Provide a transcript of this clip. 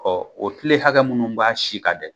o tile hakɛ minnu b'a si kan dɛ